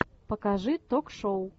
покажи ток шоу